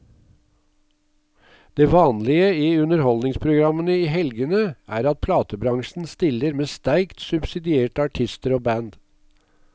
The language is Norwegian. Det vanlige i underholdningsprogrammene i helgene er at platebransjen stiller med sterkt subsidierte artister og band.